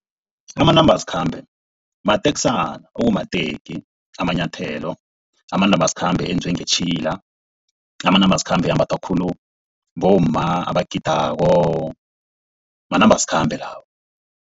Amanambasikhambe mateksana ekumateki, amanyathelo. Amanambasikhambe enziwe ngetjhila, amanambasikhambe ambathwa khulu bomma abagidako manambasikhambe lawo.